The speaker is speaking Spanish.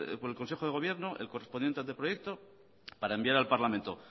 por el consejo de gobierno el correspondiente anteproyecto para enviar al parlamento